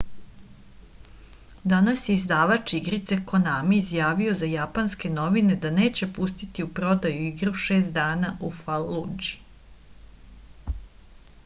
danas je izdavač igrice konami izjavio za japanske novine da neće pustiti u prodaju igru šest dana u faludži